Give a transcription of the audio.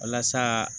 Walasa